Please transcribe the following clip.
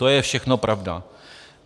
To je všechno pravda.